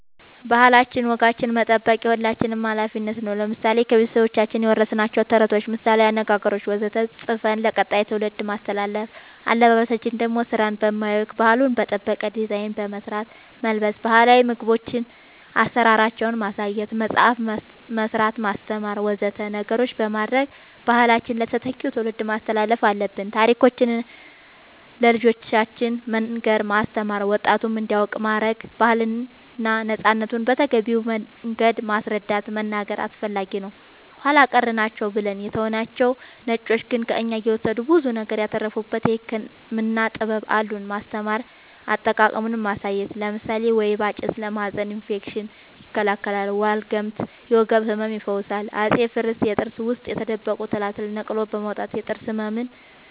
ባህላችን ወጋችን መጠበቅ የሁላችንም አላፊነት ነው ለምሳሌ ከቤተሰቦቻችን የወረስናቸውን ተረቶች ምሳላዊ አነገገሮች ወዘተ ፅፈን ለቀጣይ ትውልድ ማስተላለፍ አለበበሳችን ደሞ ስራን በማያውክ ባህሉን በጠበቀ ዲዛይን በመስራት መልበስ ባህላዊ ምግቦቻችን አሰራራቸውን ማሳየት መፅአፍ መስራት ማስተማር ወዘተ ነገሮች በማድረግ ባህላችንን ለተተኪው ትውልድ ማስተላለፍ አለብን ታሪኮቻችን ለልጆቻን መንገር ማስተማር ወጣቱም እንዲያውቅ ማረግ ባህልና ነፃነትን በተገቢው መንገድ ማስረዳት መናገር አስፈላጊ ነው ኃላ ቀር ናቸው ብለን የተውናቸው ነጮቹ ግን ከእኛ እየወሰዱ ብዙ ነገር ያተረፉበት የህክምና ጥበብ አሉን ማስተማር አጠቃቀሙን ማሳየት ለምሳሌ ወይባ ጭስ ለማህፀን እፌክሽን ይከላከላል ዋልግምት የወገብ ህመም ይፈውሳል አፄ ፋሪስ የጥርስ ውስጥ የተደበቁ ትላትልን ነቅሎ በማውጣት የጥርስ ህመምን